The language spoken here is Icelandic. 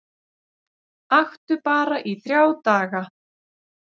Aktu bara þrjá daga